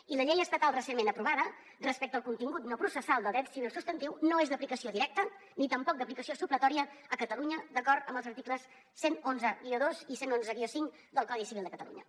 i la llei estatal recentment aprovada respecte al contingut no processal del dret civil substantiu no és d’aplicació directa ni tampoc d’aplicació supletòria a catalunya d’acord amb els articles cent i onze dos i cent i onze cinc del codi civil de catalunya